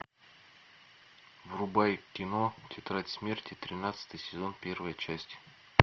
врубай кино тетрадь смерти тринадцатый сезон первая часть